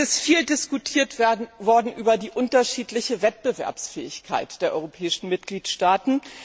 Es ist viel diskutiert worden über die unterschiedliche Wettbewerbsfähigkeit der europäischen Mitgliedstaaten.